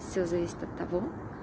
всё зависит от того